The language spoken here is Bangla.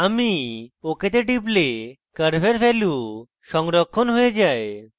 আমি ok তে টিপলে curves ভ্যালু সংরক্ষণ হয়ে যায়